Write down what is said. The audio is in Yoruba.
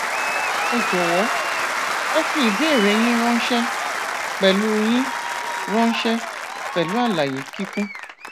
ẹ jọwọ ẹ fi ìbéèrè yín ránṣẹ pẹlú yín ránṣẹ pẹlú àlàyé kíkún